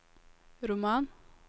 roman